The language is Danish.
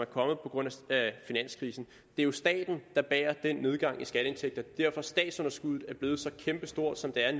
på grund af finanskrisen det er jo staten der bærer den nedgang i skatteindtægter det er at statsunderskuddet er blevet så kæmpestort som det er